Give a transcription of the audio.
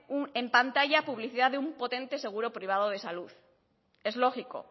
en pantalla publicidad de un potente seguro privado de salud es lógico